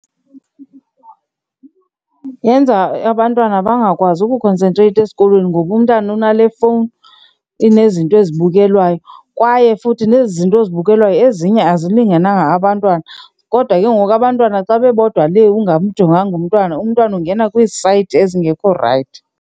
Yenza abantwana bangakwazi ukhonsentreyitha esikolweni ngoba umntana unale fowuni enezinto ezibukelwa wayo. Kwaye futhi nezi zinto ozibukelayo ezinye azilingenanga abantwana kodwa ke ngoku abantwana xa bebodwa lee ungamjonganga umntwana, umntwana ungena kwiisayithi ezingekho rayithi.